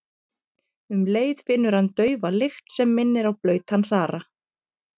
Um leið finnur hann daufa lykt sem minnir á blautan þara.